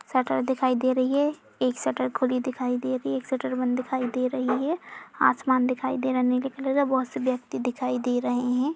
Shutter दिखाई दे रही है। एक शटर खुली दिखाई दे रही है। एक शटर बंद दिखाई दे रही है। आसमान दिखाई दे रहा है। नीले कलर का बहोत से व्यक्ति दिखाई दे रहे हैं।